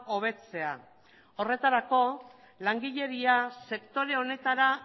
hobetzea horretarako langileria sektore honetara